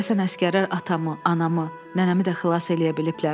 Görəsən əsgərlər atamı, anamı, nənəmi də xilas eləyə biliblər?